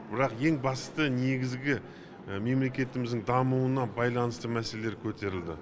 бірақ ең басты негізгі мемлекетіміздің дамуына байланысты мәселелер көтерілді